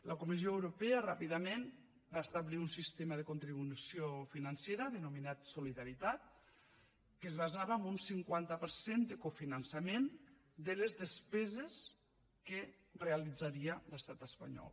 la comissió europea ràpidament va establir un sistema de contribució financera denominat solidaritat que es basava en un cinquanta per cent de cofinançament de les despeses que realitzaria l’estat espanyol